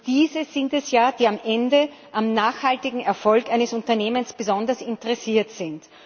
Diese sind es ja, die am Ende am nachhaltigen Erfolg eines Unternehmens besonders interessiert sind.